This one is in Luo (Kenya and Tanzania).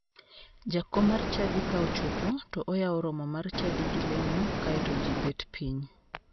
Jakom mar chadi ka ochopo to oyawo romo mar chadi gi lemo kae to ji bet piny.